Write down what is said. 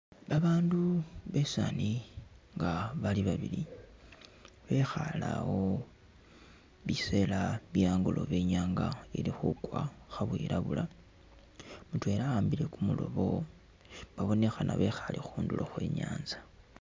Babandu basaani nga bali babili bekhaale awo biseela bye'angolobe inyanga ili khukwa kha bwilabula mutweela ahambile kumuloobo babonekhana bekhaale khundulo khwe inyanza.